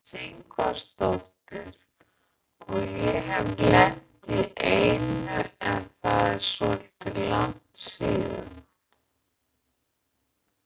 Bryndís Ingvarsdóttir: Og ég hef lent í einu en það er svolítið langt síðan?